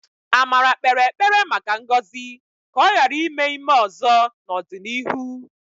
Amara kpere ekpere maka ngọzi ka ọ ghara ime ime ọzọ n'ọdịnihu.